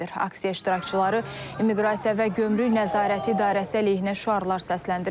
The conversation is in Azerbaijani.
Aksiya iştirakçıları immiqrasiya və gömrük nəzarəti idarəsi əleyhinə şüarlar səsləndiriblər.